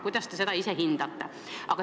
Kuidas te seda ise hindate?